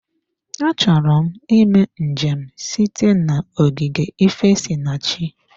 Achọrọ m ịme njem site na ogige ifesinachi.